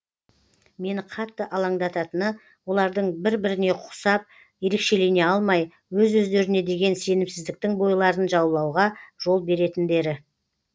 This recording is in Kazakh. мені қатты алаңдататыны олардың бір біріне ұқсап ерекшелене алмай өз өздеріне деген сенімсіздіктің бойларын жаулауға жол беретіндері